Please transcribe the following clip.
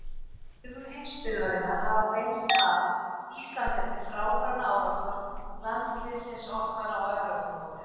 Augu heimsbyggðarinnar hafa beinst að Íslandi eftir frábæran árangur landsliðsins okkar á Evrópumótinu.